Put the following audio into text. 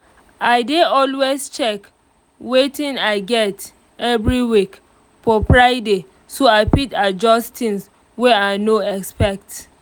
i dey always check watin i get everyweek for friday so i fit adjust things wey i no expect